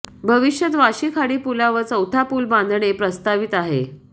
भविष्यात वाशी खाडीपुलावर चौथा पूल बांधणे प्रस्तावित आहे